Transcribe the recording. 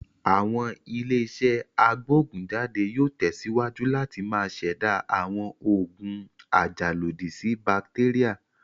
Àwọn ilé-iṣẹ́ agbógùn jáde yóò tẹ̀síwájú láti máa ṣẹ̀dá àwọn òògùn ajàlòdí sí bàtéríà.